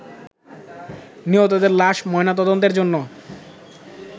নিহতদের লাশ ময়নাতদন্তের জন্য